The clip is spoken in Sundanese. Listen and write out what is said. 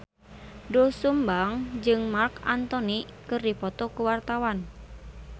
Doel Sumbang jeung Marc Anthony keur dipoto ku wartawan